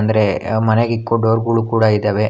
ಅರೆ ಮನೆಗಿಕ್ಕೋ ಡೋರ್ ಗುಳು ಕೂಡ ಇದಾವೆ.